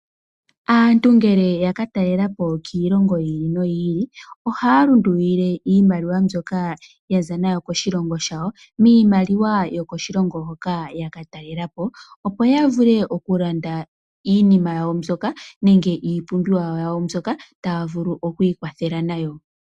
Aantu ngele yaka talelapo kiilongo yi ili noyi ili, ohaya lundululile iimaliwa mbyoka yaza nayo koshilongo shawo, miimaliwa yo koshilongo hoka yaka talelapo. Opo ya vule okulanda iinima yawo mbyoka nenge iipumbiwa yawo mbyoka taya vulu oku ikwathela nayo.